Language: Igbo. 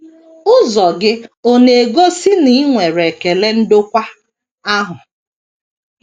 Ụzọ gị ọ̀ na - egosi na i nwere ekele ndokwa ahụ?